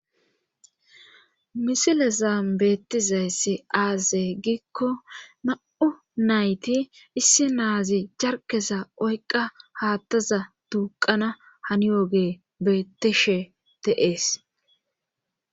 misile zam beettizayssi aaze giikko ma7u nayti issi naazi jarkeza oyqa haattaza tuuqana hanioge beettishe teees